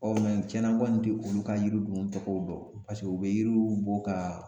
mɛ tiɲɛna n kɔni tɛ olu ka yiri ninnu tɔgɔw dɔn paseke u bɛ yiriw bɔ ka